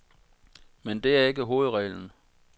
Men det er ikke hovedreglen.